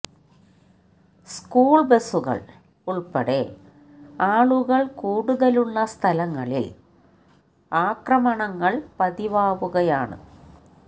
school ബസുകള് ഉള്പ്പെടെ ആളുകള് കൂടുതലുളള സ്ഥലങ്ങളില് ആക്രമണങ്ങള് പതിവാകുകയാണ്